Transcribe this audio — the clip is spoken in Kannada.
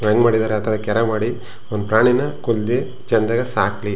ಹೆಂಗ್ ಮಾಡಿದರೆ ಅಥವಾ ಕೆರೆ ಮಾಡಿ ಒಂದು ಪ್ರಾಣಿನಾ ಕೋಲ್ಲ್ ದಿ ಚಂದಾಗ್ ಸಾಕ್ಲಿ --